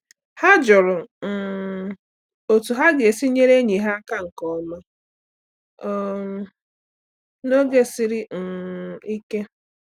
Ha jụrụ um otu ha ga-esi nyere enyi ha aka nke ọma um n’oge siri um ike